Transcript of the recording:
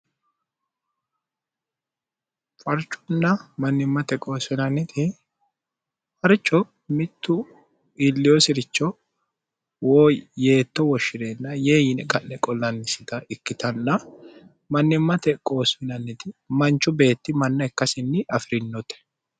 farchunna mannimmate qoosfinanniti harcho mittu illiyosi'richo woo yeetto woshshi'reenna yee yine qa'le qollannisita ikkitanna mannimmate qoosfinanniti manchu beetti manna ikkasinni afi'rinote